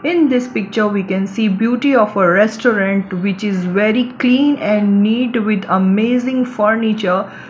in this picture we can see beauty of a restaurant which is very clean and neat with amazing furniture.